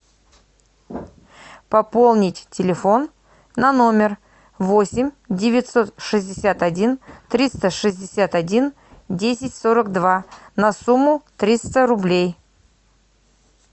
пополнить телефон на номер восемь девятьсот шестьдесят один триста шестьдесят один десять сорок два на сумму триста рублей